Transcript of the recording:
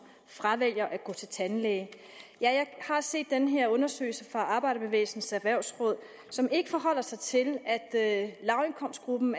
fravælger at gå til tandlæge jeg har set den her undersøgelse fra arbejderbevægelsens erhvervsråd som ikke forholder sig til at lavindkomstgruppen